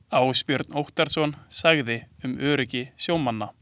Ásbjörn Óttarsson sagði um öryggi sjómanna.